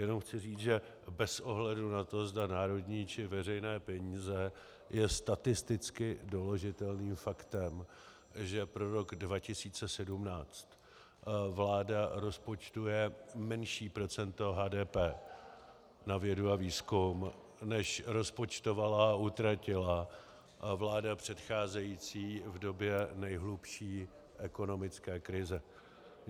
Jen chci říct, že bez ohledu na to, zda národní, či veřejné peníze, je statisticky doložitelným faktem, že pro rok 2017 vláda rozpočtuje menší procento HDP na vědu a výzkum, než rozpočtovala a utratila vláda předcházející v době nejhlubší ekonomické krize.